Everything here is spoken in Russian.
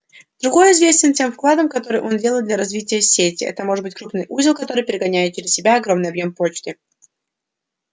другой известен тем вкладом который он делает для развития сети это может быть крупный узел который перегоняет через себя огромный объём почты